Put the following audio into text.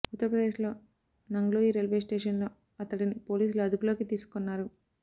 ఉత్తర ప్రదేశ్లో నంగ్లోయి రైల్వే స్టేషన్లో అతడిని పోలీసులు అదుపులోకి తీసుకున్నారు